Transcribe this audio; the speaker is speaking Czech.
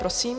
Prosím.